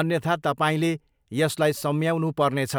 अन्यथा तपाईँले यसलाई सम्याउनु पर्नेछ।